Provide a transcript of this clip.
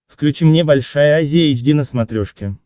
включи мне большая азия эйч ди на смотрешке